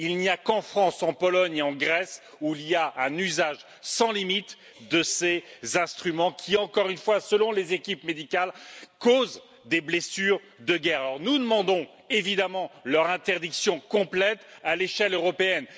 Il n'y a qu'en France, en Pologne et en Grèce, où il y a un usage sans limite de ces instruments qui encore une fois, selon les équipes médicales, causent des blessures de guerre. Alors, nous demandons évidemment leur interdiction complète à l'échelle européenne.